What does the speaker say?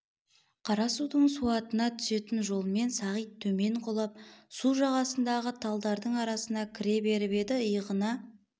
қара судың суатына түсетін жолмен сағит темен құлап су жағасындағы талдардың арасына кіре беріп еді иығына